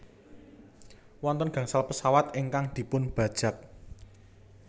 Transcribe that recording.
Wonten gangsal pesawat ingkang dipunbajak